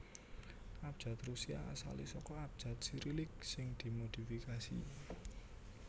Abjad Rusia asalé saka abjad Sirilik sing dimodifikasi